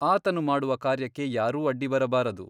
ಆತನು ಮಾಡುವ ಕಾರ್ಯಕ್ಕೆ ಯಾರೂ ಅಡ್ಡಿ ಬರಬಾರದು.